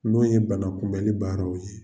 N'o ye bana kunbɛnli baaraw ye.